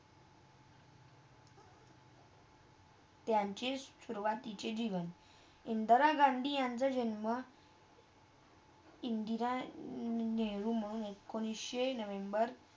त्यांची सुरुवातीचे दिवस, इंदिरा गांधी यांचा जन्म इंदिरा नेहरू मंग एकोणीसशे नोव्हेंबर